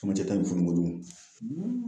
Camancɛ ta in funu kojugu